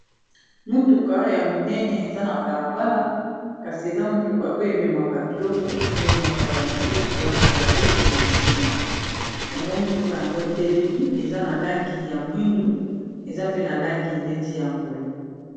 motuka ya monene eza na balabala kasi eza motuka oyo ememaka ilokoememaka babiloko na nsima yango motuka yango etelemi eza na langi ya mwindu eza pe na langi neti ya mbwe